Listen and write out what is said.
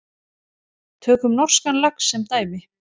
Tökum norskan lax sem dæmi.